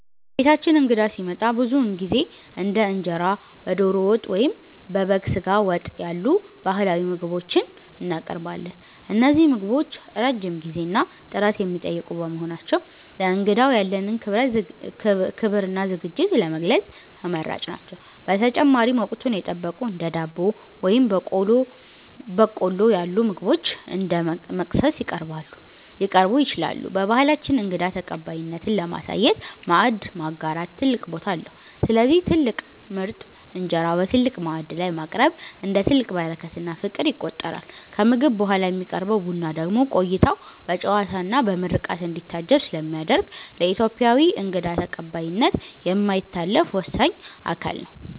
በቤታችን እንግዳ ሲመጣ ብዙውን ጊዜ እንደ እንጀራ በዶሮ ወጥ ወይም በበግ ስጋ ወጥ ያሉ ባህላዊ ምግቦችን እናቀርባለን። እነዚህ ምግቦች ረጅም ጊዜና ጥረት የሚጠይቁ በመሆናቸው፣ ለእንግዳው ያለንን ክብርና ዝግጅት ለመግለጽ ተመራጭ ናቸው። በተጨማሪም፣ ወቅቱን የጠበቁ እንደ ዳቦ ወይም በቆሎ ያሉ ምግቦች እንደ መክሰስ ሊቀርቡ ይችላሉ። በባህላችን እንግዳ ተቀባይነትን ለማሳየት "ማዕድ ማጋራት" ትልቅ ቦታ አለው፤ ስለዚህ ትልቅ ምርጥ እንጀራ በትልቅ ማዕድ ላይ ማቅረብ፣ እንደ ትልቅ በረከትና ፍቅር ይቆጠራል። ከምግብ በኋላ የሚቀርበው ቡና ደግሞ ቆይታው በጨዋታና በምርቃት እንዲታጀብ ስለሚያደርግ፣ ለኢትዮጵያዊ እንግዳ ተቀባይነት የማይታለፍ ወሳኝ አካል ነው።